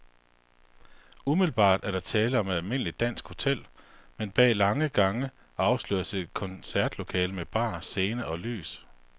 Umiddelbart er der tale om et almindeligt dansk hotel, men bag lange gange afsløres et koncertlokale med bar, scene og lys.